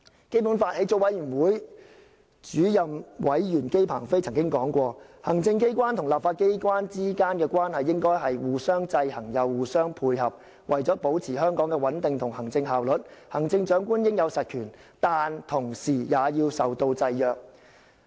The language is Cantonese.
基本法起草委員會主任委員姬鵬飛曾經說過："行政機關和立法機關之間的關係應該是既互相制衡又互相配合；為了保持香港的穩定和行政效率，行政長官應有實權，但同時也要受到制約。